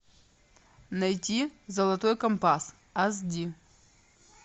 найти золотой компас ас ди